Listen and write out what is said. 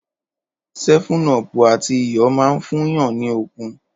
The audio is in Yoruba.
Ṣẹfúnọ pú àtí ìyọ mà ń fún yàn ní òkún.